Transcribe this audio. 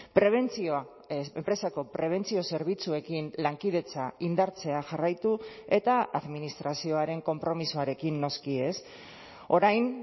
prebentzioa enpresako prebentzio zerbitzuekin lankidetza indartzea jarraitu eta administrazioaren konpromisoarekin noski ez orain